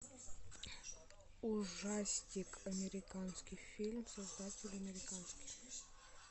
ужастик американский фильм создатель американский